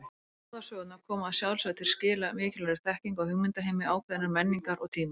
Báðar sögurnar koma að sjálfsögðu til skila mikilvægri þekkingu á hugmyndaheimi ákveðinnar menningar og tíma.